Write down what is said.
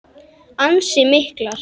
Ansi miklar.